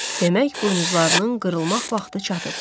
Demək buynuzlarının qırılmaq vaxtı çatıb.